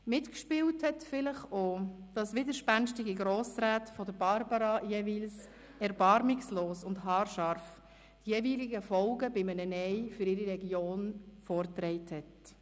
Mitgespielt hat vielleicht auch, dass Barbara widerspenstigen Grossräten jeweils erbarmungslos und haarscharf die Folgen eines Nein für ihre Region vorgetragen hat.